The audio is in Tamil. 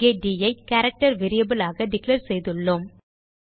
இங்கே ட் ஐ கேரக்டர் வேரியபிள் ஆக டிக்ளேர் செய்துள்ளோம்